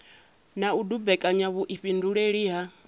na u dumbekanya vhuifhinduleli ha